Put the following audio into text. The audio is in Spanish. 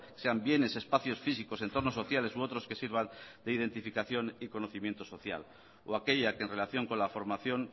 sean bienes espacios físicos entornos sociales u otros que sirvan de identificación y conocimiento social o aquella que en relación con la formación